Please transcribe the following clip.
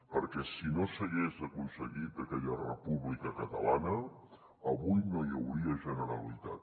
perquè si no s’hagués aconseguit aquella república catalana avui no hi hauria generalitat